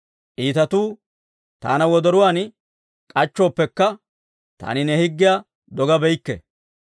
Iitatuu taana wodoruwaan k'achchooppekka, taani ne higgiyaa dogabeykke.